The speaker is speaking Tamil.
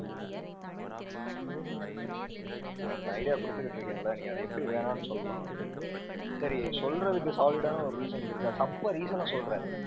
நான் உனக்கு idea கொடுத்துக்கிட்டு இருக்கேன்ல நீ அதை எப்படி வேணாம்ன்னு சொல்லலாம்? சரி நீ சொல்றதுக்கு solid ஆன ஒரு reasons இருக்கா? சப்ப reason அ சொல்லுற.